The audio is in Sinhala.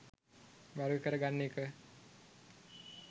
වර්ග කර ගන්න එක.